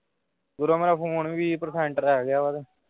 ਮੇਰਾ phone ਵੀਹ percent ਰਹਿ ਗਿਆ ਵਾ ਤੇ।